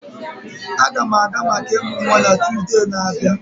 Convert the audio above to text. Aga m aga maka ịmụ nwa na Tuzdee na-abịa.